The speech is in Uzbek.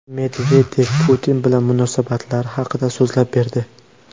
Medvedev Putin bilan munosabatlari haqida so‘zlab berdi.